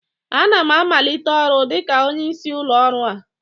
Ana m amalite ọrụ dịka onye isi ụlọ ọrụ a